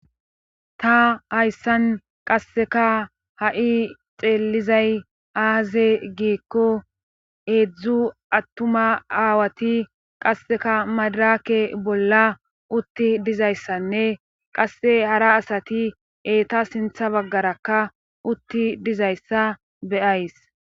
Ta hayssan qasseka ha'i xeellizay aaze giikko eedzdzu attuma aawati qasseka madaraake bolla utti dizayssanne qasse hara asati eeta sintha baggarakka utti dizayssa beyays